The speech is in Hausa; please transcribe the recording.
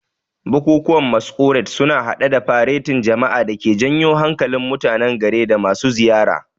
Bukukuwan Masquerade sun hada da faretin jama'a da ke janyo hankalin mutanen gari da masu ziyara.